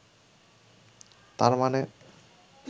তার মানে